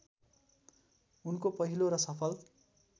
उनको पहिलो र सफल